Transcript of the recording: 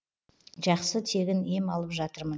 жақсы тегін ем алып жатырмын